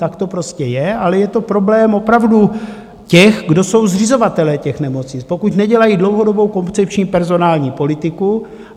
Tak to prostě je, ale je to problém opravdu těch, kdo jsou zřizovatelé těch nemocnic, pokud nedělají dlouhodobou koncepční personální politiku.